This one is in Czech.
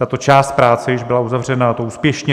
Tato část práce již byla uzavřena, a to úspěšně.